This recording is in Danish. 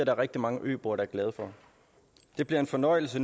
er rigtig mange øboere der er glade for det bliver en fornøjelse